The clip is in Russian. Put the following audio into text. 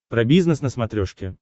про бизнес на смотрешке